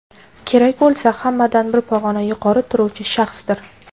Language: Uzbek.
kerak bo‘lsa hammadan bir pog‘ona yuqori turuvchi shaxsdir.